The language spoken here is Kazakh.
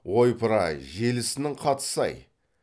ойпыр ай желісінің қатысы ай